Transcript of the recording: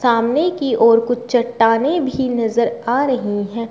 सामने की ओर कुछ चट्टानें भी नजर आ रही हैं।